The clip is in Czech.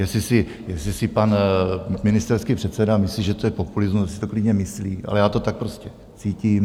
Jestli si pan ministerský předseda myslí, že to je populismus, ať si to klidně myslí, ale já to tak prostě cítím.